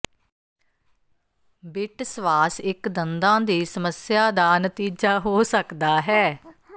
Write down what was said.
bit ਸਵਾਸ ਇੱਕ ਦੰਦਾਂ ਦੀ ਸਮੱਸਿਆ ਦਾ ਨਤੀਜਾ ਹੋ ਸਕਦਾ ਹੈ